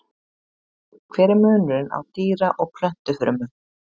Hver er munurinn á dýra- og plöntufrumum?